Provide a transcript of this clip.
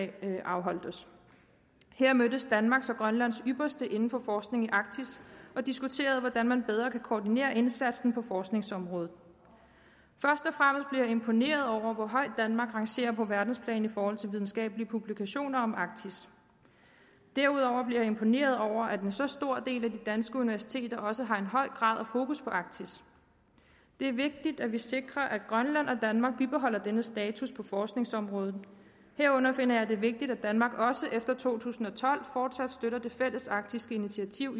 blev afholdt her mødtes danmarks og grønlands ypperste inden for forskning i arktis og diskuterede hvordan man bedre kan koordinere indsatsen på forskningsområdet først og jeg imponeret over hvor højt danmark rangerer på verdensplan i forhold til videnskabelige publikationer om arktis derudover blev jeg imponeret over at en så stor del af de danske universiteter også har en høj grad af fokus på arktis det er vigtigt at vi sikrer at grønland og danmark bibeholder denne status på forskningsområdet herunder finder jeg det vigtigt at danmark også efter to tusind og tolv fortsat støtter det fælles arktiske initiativ